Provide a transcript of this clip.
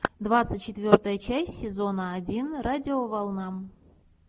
двадцать четвертая часть сезона один радиоволна